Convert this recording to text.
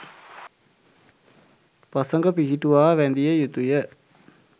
පසඟ පිහිටුවා වැඳිය යුතුය.